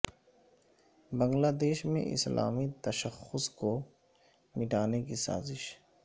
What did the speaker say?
بنگلہ دیش میں اسلامی تشخص کو مٹانے کی سازش